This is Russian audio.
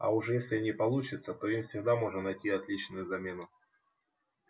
а уж если не получится то им всегда можно найти отличную замену